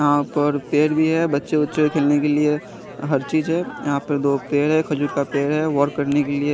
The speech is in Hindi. यहाँ पर पेड़ भी है बच्चे वच्चे खेलने के लिए हर चीज़ है यहाँ पर दो पेड़ है खजूर का पेड़ है वर्क करने के लिए --